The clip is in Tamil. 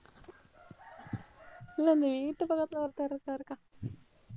இல்லை, இந்த வீட்டு பக்கத்துல ஒருத்தர் இருக்காருக்கா.